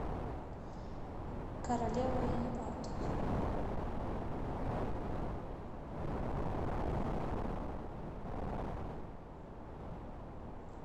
королева и абдул